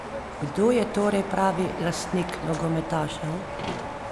Kdo je torej pravi lastnik nogometašev?